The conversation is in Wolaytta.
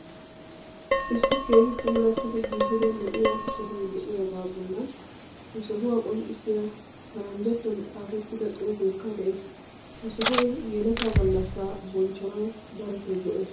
Issi keehi puulattidi giigida lo"iya sohoy dee'iyagaa bollan he sohuwa qonccissiya paranjjatuwan xaafettifa xuufeekka de'ees. Ha sohoy yeletaa gallassaa bonchchanawu darotoo go'ees.